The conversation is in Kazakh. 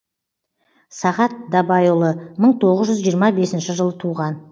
сағат дабайұлы мың тоғыз жүз жиырма бесінші жылы туған